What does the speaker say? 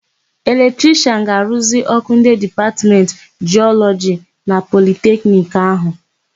Eletrishịan ga-aruzi ọ́kụ́ ndị Dipatmentị Jịọlọji na Politekniki áhụ̀.